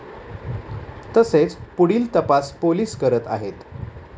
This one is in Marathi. तसेच पुढील तपास पोलीस करत आहेत.